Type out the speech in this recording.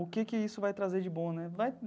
O que que isso vai trazer de bom né?